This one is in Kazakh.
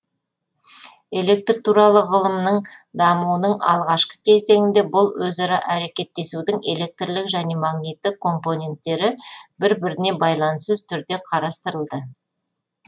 электр туралы ғылымның дамуының алғашқы кезеңінде бұл өзара әрекеттесудің электрлік және магниттік компоненттері бір біріне байланыссыз түрде қарастырылды